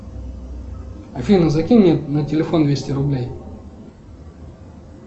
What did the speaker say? афина закинь мне на телефон двести рублей